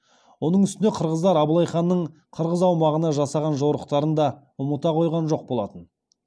оның үстіне қырғыздар абылай ханның қырғыз аумағына жасаған жорықтарын да ұмыта қойған жоқ болатын